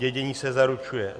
Dědění se zaručuje.